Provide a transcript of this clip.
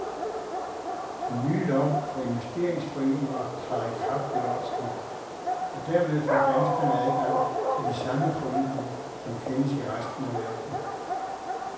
Den nye lov for investeringsforeninger træder i kraft ved årsskiftet, og dermed får danskerne adgang til de samme foreninger, som kendes i resten af verden.